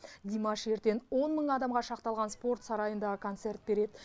димаш ертең он мың адамға шақталған спорт сарайында концерт береді